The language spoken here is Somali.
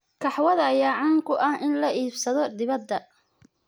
Kahwada ayaa caan ku ah in la iibsado dibadda.